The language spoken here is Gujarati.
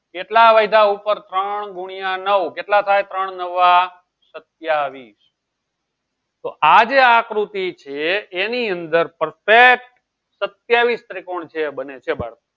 કેટલા વધ્ય ઉપર ત્રણ ગુણ્યા નવ કેટલા થાય ત્રણ નવા સત્યાવીસ તો આજે આકૃતિ છે એની અંદર perfect સત્યાવીસ ત્રિકોણ છે બને છે બાળકો